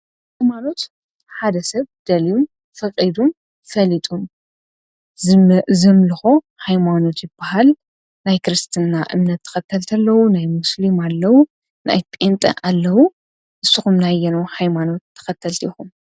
ሃይማኖት ሓደ ሰብ ደልዩ፣ ፈቒዱ፣ ፈሊጡ ዘምልኾ ሃይማኖት ይበሃል፡፡ ናይ ክርስትና እምነት ተኸተልቲ ኣለዉ፣ ናይ ሞስሊም ኣለዉ፣ ናይ ጴንጤ ኣለዉ፡፡ ንስኹም ከ ናይ ኣየንኡ ሃይማኖት ተኸተልቲ ኢኹም?